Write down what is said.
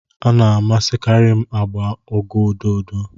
m na-amasịkarị agba ugo ododo